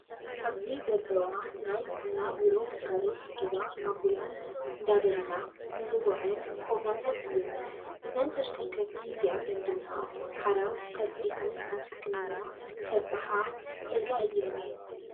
ኣብዚ ዘለዋ ናይ ጥዕና ቢሮ ግልጋሎት ዝህባ ኣቡላንስ እንዳበለልና እንፅወዕን ኮብራታት እየን። እዘን ተሽከርከርቲ እዚኣተን ድማ ሓራስ ቀልጢፈን ናብ ሕክምና ከብፀሓ ዝክእላ እየን።